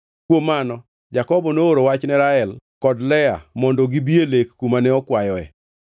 Kuom mano Jakobo nooro wach ne Rael kod Lea mondo gibi e lek kumane okwayoe.